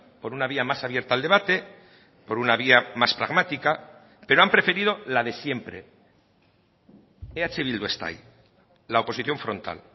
por una vía más abierta al debate por una vía más pragmática pero han preferido la de siempre eh bildu está ahí la oposición frontal